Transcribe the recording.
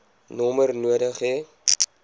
nommer nodig hê